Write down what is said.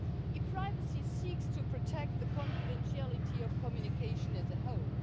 E-privacy seeks to protect the confidentiality of communication as a whole.